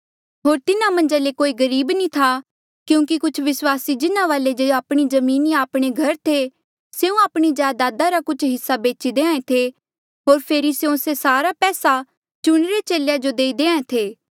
होर तिन्हा मन्झ कोई गरीब नी था क्यूंकि कुछ विस्वासी जिन्हा वाले जे आपणी जमीन या आपणे घर थे स्यों आपणी जायदादा रा कुछ हिस्सा बेची देहां ऐें थे होर फेरी स्यों से सारा पैसा चुणिरे चेले जो देई देहां ऐें थे